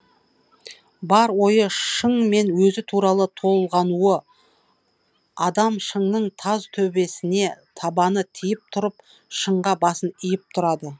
бар ойы шың мен өзі туралы толғанулы адам шыңның таз төбесіне табаны тиіп тұрып шыңға басын иіп тұрады